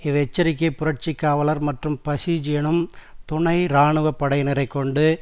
இவ் எச்சரிக்கை புரட்சி காவலர் மற்றும் பஸிஜ் எனும் துணை இராணுவ படையினரைக் கொண்டு